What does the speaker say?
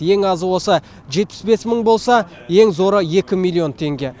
ең азы осы жетпіс бес мың болса ең зоры екі миллион теңге